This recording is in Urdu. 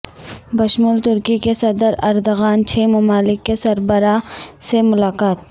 بشمول ترکی کے صدر اردغان چھ ممالک کے سربراہان سے ملاقات